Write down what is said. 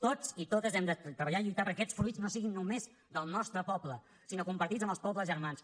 tots i totes hem de treballar i lluitar perquè aquests fruits no siguin només del nostre poble sinó compartits amb els pobles germans